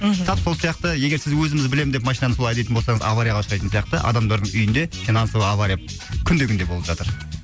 мхм тап сол сияқты егер сіз өзіміз білемін деп машинаны солай айдайтын болсаңыз аварияға ұшырайтын сияқты адамдардың үйінде финансовый авария күнде күнде болып жатыр